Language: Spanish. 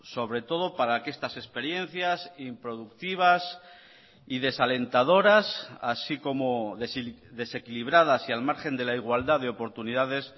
sobre todo para que estas experiencias improductivas y desalentadoras así como desequilibradas y al margen de la igualdad de oportunidades